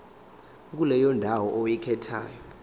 kuleyo ndawo oyikhethayo